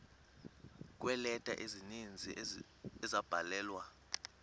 kweeleta ezininzi ezabhalelwa